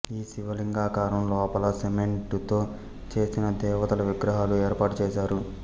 ఈ శివ లింగాకారం లోపల సెమెంటుతో చేసిన దేవతల విగ్రహాలు ఏర్పాటు చేశారు